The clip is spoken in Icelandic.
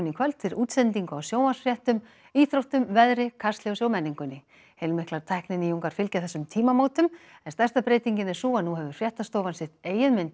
í kvöld fyrir útsendingu á sjónvarpsfréttum íþróttum veðri Kastljósi og menningunni heilmiklar tækninýjungar fylgja þessum tímamótum en stærsta breytingin er sú að nú hefur fréttastofan sitt eigið